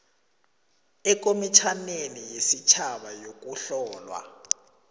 ekomitjhaneni yesitjhaba yokuhlolwa